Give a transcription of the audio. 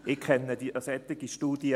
Ich kenne keine solche Studie.